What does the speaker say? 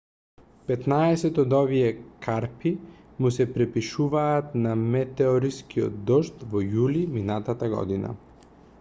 петнаесет од овие карпи му се припишуваат на метеорскиот дожд од јули минатата година